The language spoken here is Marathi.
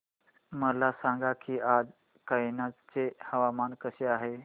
मला सांगा की आज कनौज चे हवामान कसे आहे